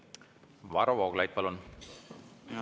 Varro Vooglaid, palun!